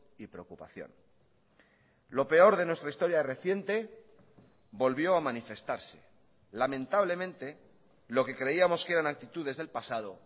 y preocupación lo peor de nuestra historia reciente volvió a manifestarse lamentablemente lo que creíamos que eran actitudes del pasado